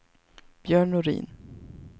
Björn Norin